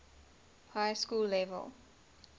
high school level